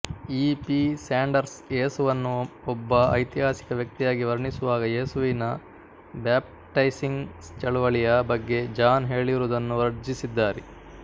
E P Sanders ಏಸುವನ್ನು ಒಬ್ಬ ಐತಿಹಾಸಿಕ ವ್ಯಕ್ತಿಯಾಗಿ ವರ್ಣಿಸುವಾಗ ಯೇಸುವಿನ ಬ್ಯಾಪ್ಟೈಸಿಂಗ್ ಚಳುವಳಿಯ ಬಗ್ಗೆ ಜಾನ್ ಹೇಳಿರುವುದನ್ನು ವರ್ಜಿಸಿದ್ದಾರೆ